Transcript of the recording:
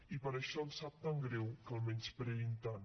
i per això ens sap tan greu que el menyspreïn tant